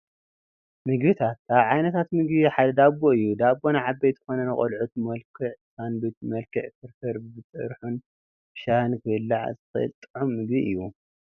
ምግብታት፡- ካብ ዓይነታት ምግቢ ሓደ ዳቦ እዩ፡፡ ዳቦ ንዓበይቲ ኮነ ንቆልዑት ብመልክዕ ሳንዱች፣ ብመልክዕ ፍርፍርን ብጥርሑ ብሻሂን ክብላዕ ዝኽእል ጥዑም ምግቢ እዩ፡፡